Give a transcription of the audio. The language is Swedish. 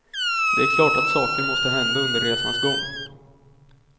Det är klart att saker måste hända under resans gång.